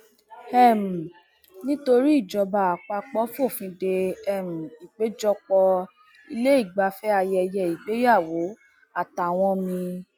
um nítorí ìjọba àpapọ fòfin dé um ìpéjọpọ ilé ìgbafẹ ayẹyẹ ìgbéyàwó àtàwọn mi